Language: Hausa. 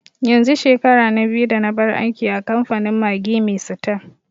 yanzu shekara na biyu da nabar aiki a kamfanin Maggi mai sita